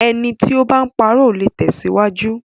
Ẹni tí o bá ń parọ́, ò le tẹ̀síwájú.